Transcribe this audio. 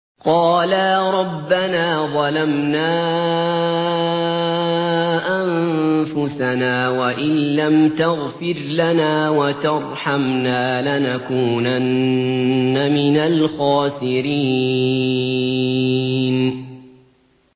قَالَا رَبَّنَا ظَلَمْنَا أَنفُسَنَا وَإِن لَّمْ تَغْفِرْ لَنَا وَتَرْحَمْنَا لَنَكُونَنَّ مِنَ الْخَاسِرِينَ